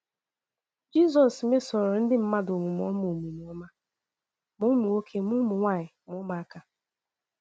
Jizọs mesoro ndị mmadụ omume ọma omume ọma, ma ụmụ nwoke, ma ụmụ nwaanyị, ma ụmụaka.